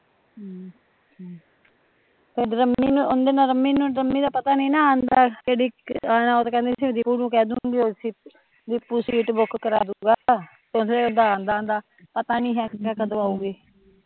ਏਦਰ ਅਮਨੀ ਨੂ ਰਮੀ ਦਾ ਪਤਾ ਨੀ ਨਾ ਆਉਂਦਾ ਕੇਹੜੀ ਓਹ ਕਹਦੀ ਸੀ ਮੈਂ ਦੀਪੁ ਨੂ ਕਹਦੂਗੀ ਦੀਪੁ ਸੀਟ ਬੁਕ ਕਰਾਦੂਗਾ ਓਹ ਆਉਂਦਾ ਆਉਂਦਾ ਪਤਾ ਨੀ ਹੈ ਕਦੋਂ ਅਯੁਗੀ